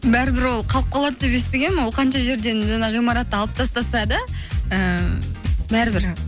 бәрібір ол қалып қалады деп естігенмін ол қанша жерден жаңағы ғимаратты алып тастаса да ііі бәрібір